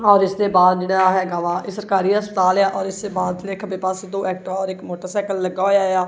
ਔਰ ਇੱਸ ਦੇ ਬਾਹਰ ਜਿਹੜਾ ਹੈਗਾ ਵਾ ਇਹ ਸਰਕਾਰੀ ਹਸਪਤਾਲ ਆ ਔਰ ਇੱਸ ਦੇ ਬਾਹਰ ਇੱਕ ਤੇ ਬੱਸ ਦੋ ਐਕਟਿਵਾ ਔਰ ਇੱਕ ਮੋਟਰਸਾਈਕਲ ਲੱਗਾ ਹੋਇਆ ਆ।